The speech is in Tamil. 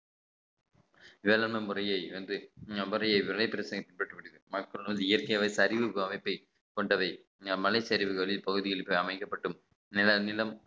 வேளாண் முறைய வந்து முறையே விலை இயற்கை வகை சரிவு அமைப்பை கொண்டவை மலைச்சரிவுகளில் இப்பகுதியில் அமைக்கப்படும் நிலம் நிலம்